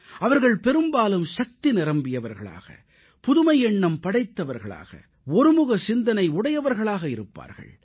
அவர்கள் பெரும்பாலும் ஆற்றல் நிரம்பியவர்களாக புதுமை எண்ணம் படைத்தவர்களாக ஒருமுக சிந்தனையுடையவர்களாக இருப்பார்கள்